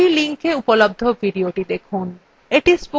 এই linkএ উপলব্ধ videothe দেখুন